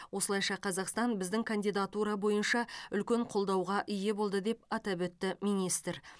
осылайша қазақстан біздің кандидатура бойынша үлкен қолдауға ие болды деп атап өтті министр